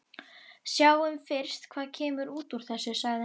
Sjáum fyrst hvað kemur út úr þessu, sagði hann.